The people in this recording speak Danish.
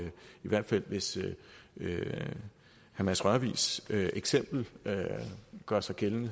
hvis herre mads rørvigs eksempel gør sig gældende